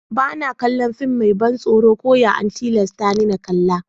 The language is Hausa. Ba na kalla fim mai ban tsoro ko ya an tillasa ni n'kalla.